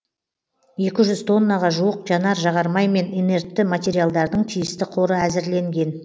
екі жүз тоннаға жуық жанар жағармай мен инертті материалдардың тиісті қоры әзірленген